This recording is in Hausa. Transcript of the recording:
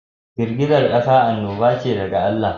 Girgizar kasa annoba ce daga Allah.